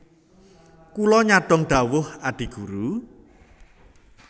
Kula nyadhong dhawuh Adi Guru